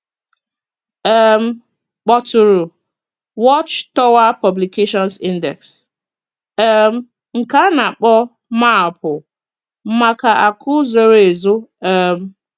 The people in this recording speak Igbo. um Kpọtụrụ *Watch Tower Publications Index,* um nke a nā-akpọ maapụ maka akụ zoro ezo. um